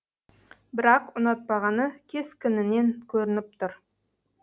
бірақ ұнатпағаны кескінінен көрініп тұр